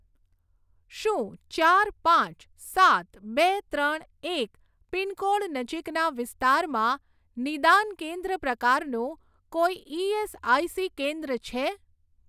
શું ચાર પાંચ સાત બે ત્રણ એક પિનકોડ નજીકના વિસ્તારમાં નિદાન કેન્દ્ર પ્રકારનું કોઈ ઇએસઆઇસી કેન્દ્ર છે?